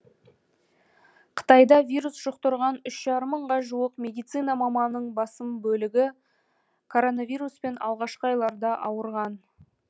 қытайда вирус жұқтырған үш жарым мыңға жуық медицина маманының басым бөлігі коронавируспен алғашқы айларда ауырған